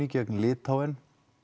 gegn Litháen